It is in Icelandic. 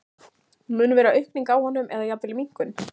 Mun vera aukning á honum eða jafnvel minnkun?